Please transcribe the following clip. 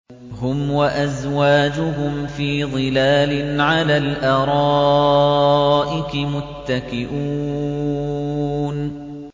هُمْ وَأَزْوَاجُهُمْ فِي ظِلَالٍ عَلَى الْأَرَائِكِ مُتَّكِئُونَ